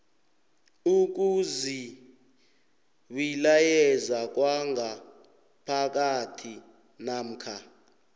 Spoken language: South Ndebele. ukuzibilayeza kwangaphakathi namkha